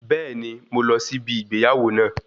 Bẹ́ẹ̀ni, mo máa lọ sí ibi ìgbéyàwó náà